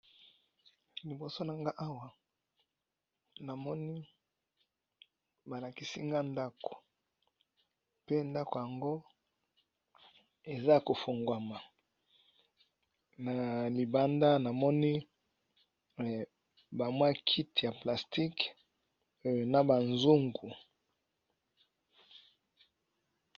Liboso nanga awa namoni balakisi nga ndaku pe ndaku yango eza kofungwama na libanda ,namoni ba kiti ya plastike na bazungu.